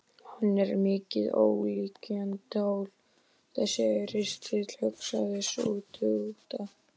Hann er mikið ólíkindatól þessi ristill, hugsaði sú stutta.